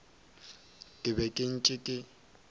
ke be ke ntše ke